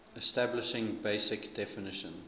establishing basic definition